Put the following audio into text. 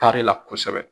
Tari la kosɛbɛ